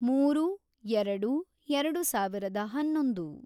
ಮೂರು, ಎರೆಡು, ಎರೆಡು ಸಾವಿರದ ಹನ್ನೊಂದು